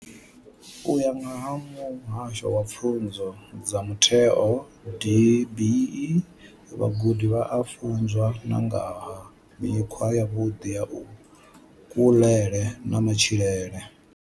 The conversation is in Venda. U ya nga vha Muhasho wa Pfunzo dza Mutheo DBE, vhagudi vha a funzwa na nga ha mikhwa yavhuḓi ya kuḽele na matshilele.